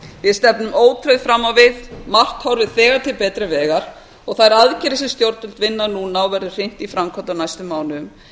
við stefnum ótrauð fram á við margt horfir þegar til betri vegar og þær aðgerðir sem stjórnvöld vinna núna og verður hrint í framkvæmd á næstu mánuðum